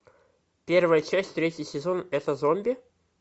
первая часть третий сезон это зомби